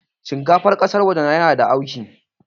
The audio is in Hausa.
Shinkafar ƙasan waje yana da auki